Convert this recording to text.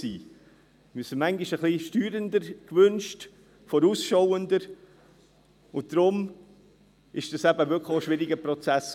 Wir haben sie uns manchmal ein wenig steuernder gewünscht, vorausschauender, und deshalb war das auch wirklich ein schwieriger Prozess.